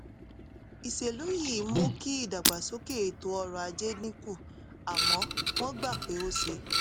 ìṣèlú yìí mú kí ìdàgbàsókè ètò ọrọ̀ ajé dín kù àmọ́ wọ́n gbà pé ó ṣe